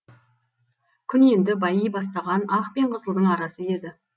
күн енді байи бастаған ақ пен қызылдың арасы еді